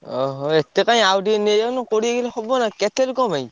ଓହୋ! ~ଏ ~ତେ କାଇଁ ଆଉ ଟିକେ ନେଇଯାଉନ କୋଡିଏ କିଲେ ହବନା କେତେ ଲୋକଙ୍କ ପାଇଁ?